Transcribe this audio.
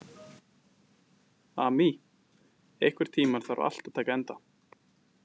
Amy, einhvern tímann þarf allt að taka enda.